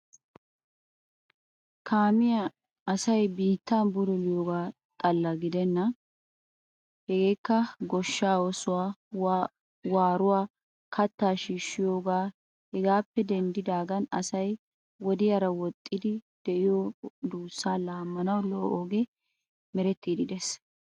Kaamiya asay biittan bululiyaoogaappe xalla gidenna. Hegekka goshsha oosuwa, waruwa, kattaa shiishiyoogappe hegappe denddidaagan asay wodiyara woxidi de'iyoo duussa lamanawu lo"o ogge merettiiddi de'ees.